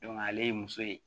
ale ye muso ye